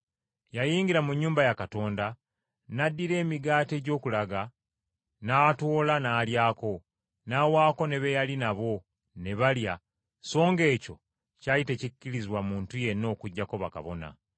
Yayingira mu nnyumba ya Katonda, n’addira emigaati egy’okulaga, n’atoola n’alyako, n’awaako ne be yali nabo ne balya so ng’ekyo kyali tekikkirizibwa muntu yenna okuggyako bakabona.”